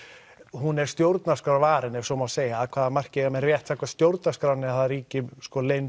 hún er stjórnarskrárvarin ef svo má segja af hvaða marki eiga menn rétt samkvæmt stjórnarskránni að það ríki leynd